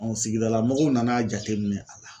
sigidala mɔgɔw nan'a jate minɛ a la.